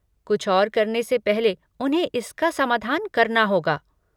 कुछ और करने से पहले उन्हें इसका समाधान करना होगा।